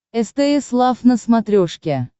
стс лав на смотрешке